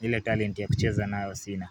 Hile talent ya kucheza nayo sina.